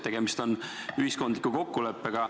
Tegemist on ühiskondliku kokkuleppega.